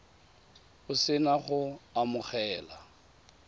o se na go amogela